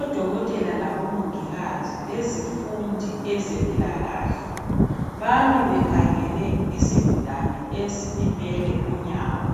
Odokotela labomongikazi lezifundi ezempilakahle, bami bekhangele isigulane esilimele unyawo.